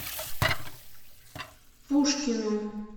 пушкину